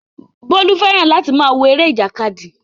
Bólú fẹ́ràn láti máa wo eré ìjàkadì